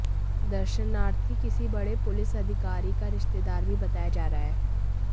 दर्शनार्थी किसी बड़े पुलिस अधिकारी का रिश्तेदार भी बताया जा रहा है